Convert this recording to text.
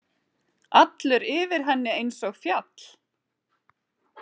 Allur yfir henni einsog fjall.